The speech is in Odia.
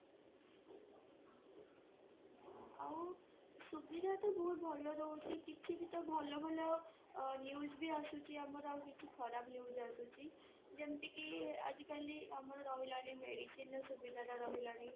ଆଉ ସୁବିଧା ତ ବହୁତ ଭଲ ରହୁଛି କିଛି ବି ତ ଭଲ ଭଲ news ବି ଆସୁଛି ଆଉ କିଛି ଖରାବ news ଆସୁଛି ଯେମିତିକି ଆଜିକାଲି ଆମର ରହିଲାଣି medicineର ସୁବିଧାଟା ରହିଲାଣି